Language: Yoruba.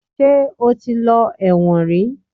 Ṣe ó ti lọ ẹ̀wọ̀n rí?